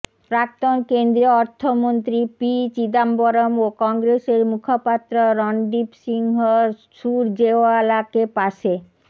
প্রাক্তন কেন্দ্রীয় অর্থমন্ত্রী পি চিদম্বরম ও কংগ্রেসের মুখপাত্র রণদীপ সিংহ সুরজেওয়ালাকে পাশে